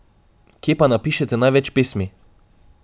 Kje pa napišete največ pesmi?